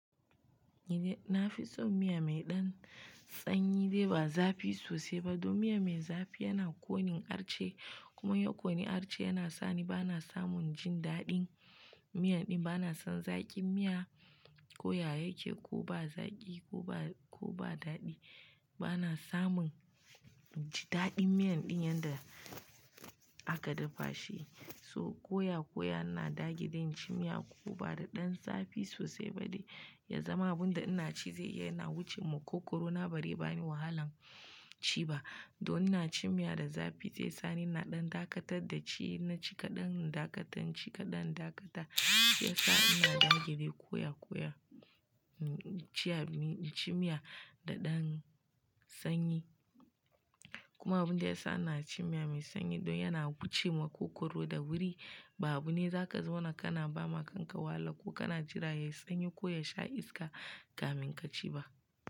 Ni nafi son miya mai ɗan sanyi dai ba zafi sosai ba. Don miya mai zafi yana ƙonin arce, kuma in ya ƙoni arce yana sani bana samun jin daɗin miyan ɗin. Bana son zaƙin miya, ko ya yake ko ba zaƙi ko ba, ko ba daɗi. Bana samun ji daɗin miyan ɗin yanda aka dafa shi. So, koya, koya ina dage dai in ci miya ko bada ɗan zafi sosai ba dai, ya zama abun da ina ci zai iya yana wuce maƙogoro na bare bani wahalan ci ba. Don ina ci miya da zafi zai sani na ɗan dakatar da ci. In naci kaɗan, in dakatar, in ci kaɗan, in dakatar. Yasa ina dage dai koya, koya ciya mi, ci miya da ɗan sanyi. Kuma abund yasa ina cin miya mai sanyi don yana wuce maƙogoro da sauri ba abune zaka zauna na kana ba ma kanka wahala ko kana jira yayi sanyi ko yasha iska kamin ka ci ba.